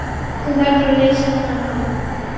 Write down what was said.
Hún verður að leysa þennan mann.